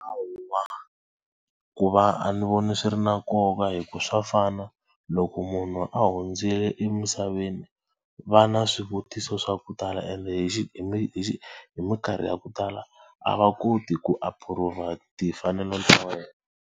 Ku va a ni voni swi ri na nkoka hikuva swa fana loko munhu a hundzile emisaveni va na swivutiso swa ku tala ende hi hi hi mikarhi ya ku tala a va koti ku approve-a timfanelo ta wena.